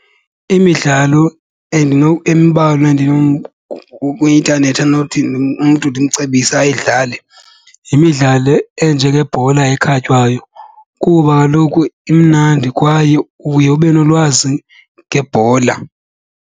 Imidlalo embalwa kwi-intanethi endinothi umntu ndimcebise ayidlale yimidlalo enjengebhola ekhatywayo kuba kaloku imnandi kwaye uye ube nolwazi ngebhola.